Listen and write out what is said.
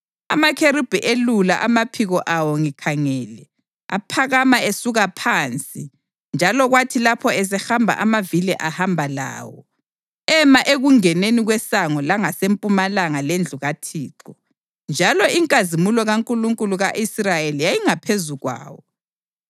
Amakherubhi elula amaphiko awo ngikhangele, aphakama esuka phansi, njalo kwathi lapho esehamba amavili ahamba lawo. Ema ekungeneni kwesango langasempumalanga lendlu kaThixo, njalo inkazimulo kaNkulunkulu ka-Israyeli yayingaphezu kwawo.